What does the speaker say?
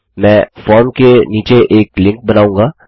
मैं फॉर्म के नीचे एक लिंक बनाऊँगा